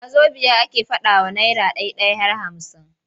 Wazobiya ake faɗawa naira ɗai-ɗai har hamsin.